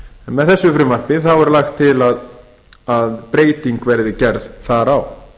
með þessu frumvarpi er lagt til að breyting verði gerð þar á